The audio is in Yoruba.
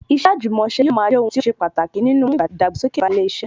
Iṣẹ́ àjùmọ̀ṣe yóò máa jẹ́ ohun tí ó ṣe pàtàkì nínú mímú ìdàgbàsókè ba ilé iṣẹ́